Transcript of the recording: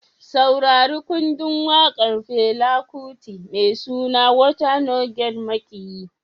Saurari kundin wakar Fela Kuti mai suna "Water No Get Maƙiyi".